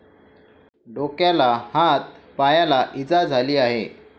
डोक्याला, हात, पायाला इजा झाली आहे.